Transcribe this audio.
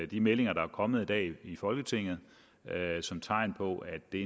de meldinger der er kommet i dag i folketinget som tegn på at det